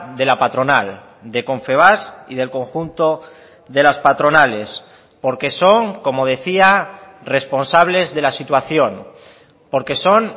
de la patronal de confebask y del conjunto de las patronales porque son como decía responsables de la situación porque son